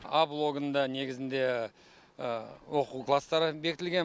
а блогында негізінде оқу класстары бекітілген